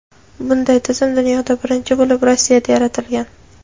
bunday tizim dunyoda birinchi bo‘lib Rossiyada yaratilgan.